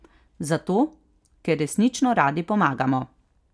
Zato, ker resnično radi pomagamo.